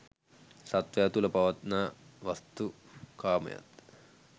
සත්වයා තුළ පවත්නා වස්තු කාමයත්